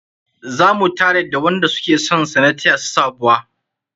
Zama tare da wanda suke sonsa na taya su sabuwa.